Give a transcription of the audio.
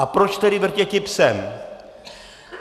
A proč tedy vrtěti psem?